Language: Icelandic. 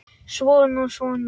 Svona og svona.